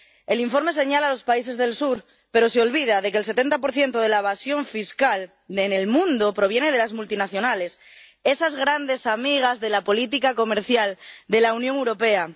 El informe señala a los países del sur, pero se olvida de que el 70 de la evasión fiscal en el mundo proviene de las multinacionales, esas grandes amigas de la política comercial de la Unión Europea.